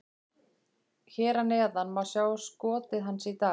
Hér að neðan má sjá skotið hans í dag: